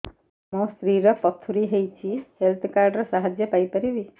ମୋ ସ୍ତ୍ରୀ ର ପଥୁରୀ ହେଇଚି ହେଲ୍ଥ କାର୍ଡ ର ସାହାଯ୍ୟ ପାଇପାରିବି